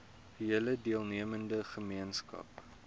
hele deelnemende gemeenskap